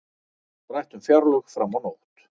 Rætt um fjárlög fram á nótt